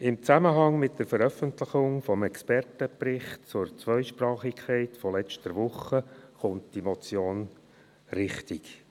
Im Zusammenhang mit der Veröffentlichung des Expertenberichts zur Zweisprachigkeit von letzter Woche kommt diese Motion richtig.